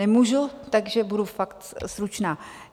Nemůžu, takže budu fakt stručná.